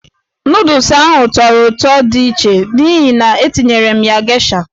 Nụdụls ahụ tọrọ ụtọ di iche n'ihi na-etinyere m ya geisha.